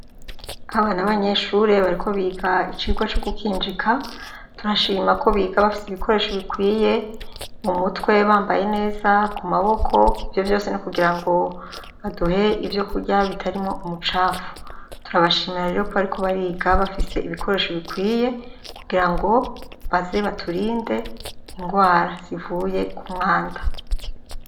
Aba na banyeshure bariko biga icirwa co gukinjika turashima ko biga bafise ibikoresho bikwiye mu mutwe bambaye neza ku maboko ivyo vyose n'kugira ngo baduhe ivyo kurya bitarimwo umucafu turabashimira rero ko bariko bariga bafise ibikoresho bikwiye kugira ngo azeba turinde ingwara zivuye ku mwanda.